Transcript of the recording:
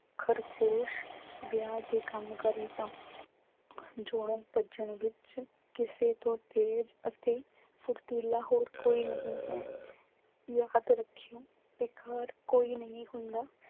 ਖ਼ਰਗੋਸ਼ ਵਿਆਹ ਦੇ ਕੰਮ ਕਰੇਗਾ ਭੱਜਣ ਵਿੱਚ ਕਿਸੇ ਤੋਂ ਤੇਜ਼ ਅਤੇ ਫੁਰਤੀਲਾ ਹੋਰ ਕੋਈ ਨਹੀਂ ਹੈ। ਯਾਦ ਰੱਖੀਂ ਬੇਕਾਰ ਕੋਈ ਨਹੀਂ ਹੁੰਦਾ।